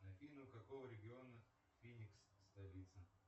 афина у какого региона феникс столица